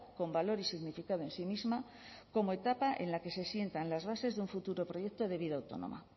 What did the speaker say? con valor y significado en sí misma como etapa en la que se sientan las bases de un futuro proyecto de vida autónoma